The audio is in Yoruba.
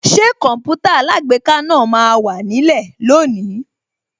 Ṣé Kọǹpútà alágbèéká náà máa wà nílẹ̀ lónìí